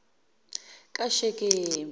kashekemi